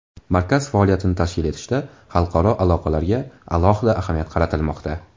Markaz faoliyatini tashkil etishda xalqaro aloqalarga alohida ahamiyat qaratilmoqda.